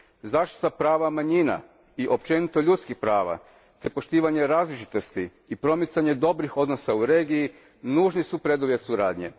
Zaštita prava manjina i općenito ljudskih prava te poštivanje različitosti i promicanje dobrih odnosa u regiji nužni su preduvjeti suradnje.